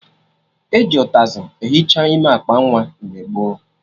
E ji ụtazị ehicha ime akpa nwa mgbe gboo